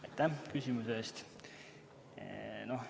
Aitäh küsimuse eest!